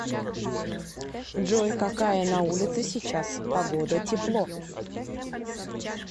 джой какая на улице сейчас погода тепло